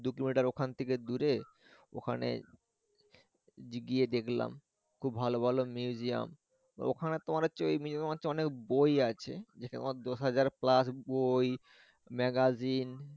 দু কিলোমিটার ওখান থেকে দুরে ওখানে গিয়ে দেখলাম খুব ভালো ভালো museum তো এখানে তোমার হচ্ছে ওই museum এ হচ্ছে অনেক বই আছে যেটা মনে দুই হাজার প্লাস বই ম্যাগাজিন